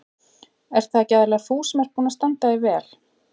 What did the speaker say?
Ert það ekki aðallega þú sem ert búin að standa þig vel?